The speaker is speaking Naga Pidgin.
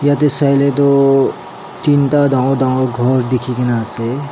yate saile too tinta danggor danggor gor dikhi kena ase.